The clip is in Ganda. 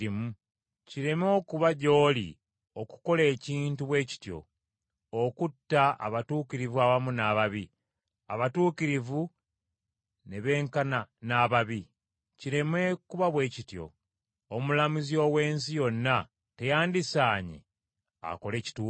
Kireme okuba gy’oli okukola ekintu bwe kityo, okutta abatuukirivu awamu n’ababi, abatuukirivu ne benkana n’ababi! Kireme kuba bwe kityo! Omulamuzi ow’ensi yonna teyandisaanye akole kituufu?”